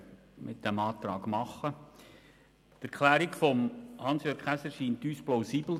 Die Erklärung von Hans-Jürg Käser erscheint uns plausibel.